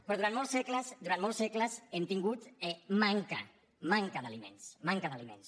però durant molts segles durant molts segles hem tingut manca d’aliments manca d’aliments